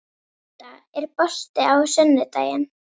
Inda, er bolti á sunnudaginn?